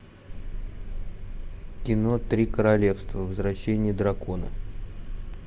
кино три королевства возвращение дракона